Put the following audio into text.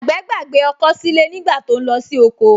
Àgbẹ̀ gbàgbé ọkọ́ sílé nígbà tó ń lọ sí oko